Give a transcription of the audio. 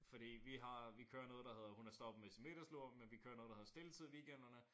Fordi vi har vi kører noget der hedder hun er stoppet med sin middagslur men vi kører ngoet der hedder stilletid i weekenderne